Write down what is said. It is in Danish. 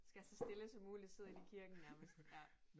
Skal så stille som muligt sidder inde i kirken nærmest ja